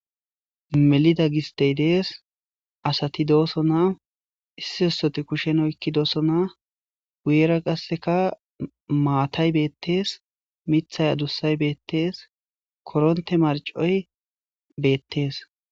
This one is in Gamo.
Mellida gisstey dessi asati dosona iso issoti kushshen oyqqidosona guyera qasseka maattay bettes miththay adussay bettes korontte marcoy bettes.